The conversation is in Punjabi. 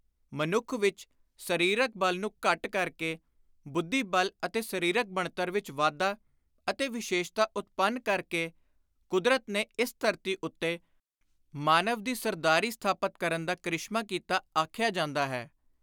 ਮਨੁੱਖ ਵਿਚ ਸਰੀਰਕ ਬਲ ਨੂੰ ਘੱਟ ਕਰ ਕੇ, ਬੁੱਧੀ ਬਲ ਅਤੇ ਸਰੀਰਕ ਬਣਤਰ ਵਿਚ ਵਾਧਾ ਅਤੇ ਵਿਸ਼ੇਸ਼ਤਾ ਉਤਪੰਨ ਕਰ ਕੇ, ਕੁਦਰਤ ਨੇ ਇਸ ਧਰਤੀ ਉੱਤੇ ਮਾਨਵ ਦੀ ਸਰਦਾਰੀ ਸਥਾਪਤ ਕਰਨ ਦਾ ਕ੍ਰਿਸ਼ਮਾ ਕੀਤਾ ਆਖਿਆ ਜਾਂਦਾ ਹੈ।